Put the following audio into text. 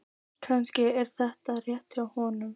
Kannski er þetta rétt hjá honum.